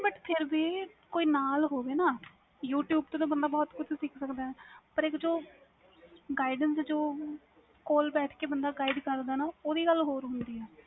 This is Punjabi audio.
but ਫਿਰ ਕੋਈ ਨਾਲ ਹੋਵੇ ਨਾ youtube ਤੋਂ ਤੇ ਬੰਦਾ ਬਹੁਤ ਕੁਛ ਸਿੱਖ ਸਕਦਾ ਵ ਪਰ guidance ਜੋ ਕੋਲ ਬੈਠ ਕੇ ਬੰਦਾ gudie ਕਰਦਾ ਵ ਓਹਦੀ ਗੱਲ ਹੋਰ ਹੁੰਦੀ ਵ